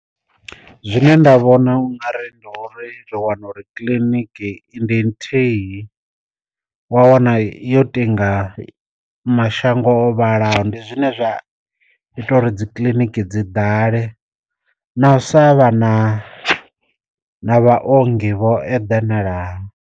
Zwine nda vhona ungari ndi uri ri wana uri kiḽiniki i ndi nthihi wa wana yo tinga mashango o vhalaho, ndi zwine zwa ita uri dzi kiḽiniki dzi ḓale na u sa vha na na vha ongi vho eḓanalaho.